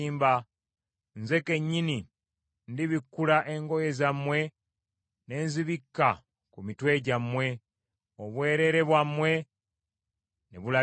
Nze kennyini ndibikkula engoye zammwe ne nzibikka ku mitwe gyammwe, obwereere bwammwe ne bulabika.